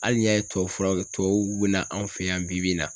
Hali n'i y'a ye tubabu fura kɛ tubabuw bi na anw fɛ yan bi bi in na